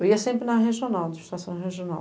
Eu ia sempre na regional, do Estação Regional.